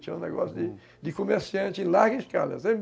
Tinha um negócio de comerciante em larga escala.